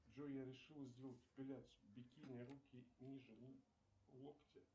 джой я решил сделать эпиляцию бикини руки ниже локтя